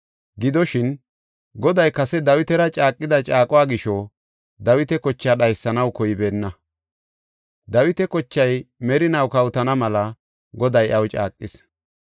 Gidoshin, Goday kase Dawitara caaqida caaquwa gisho Dawita kochaa dhaysanaw koybeenna. Dawita kochay merinaw kawotana mela Goday iyaw caaqis.